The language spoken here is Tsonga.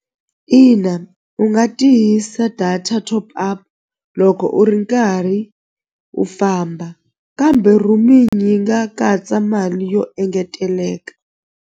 Ina u nga tihisa data top up loko u ri nkarhi u famba kambe roaming yi nga katsa mali yo engeteleka.